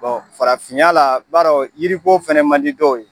farafinya la, i ba dɔn yiri ko fana man di dɔw ye.